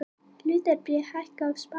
Hlutabréf hækka á Spáni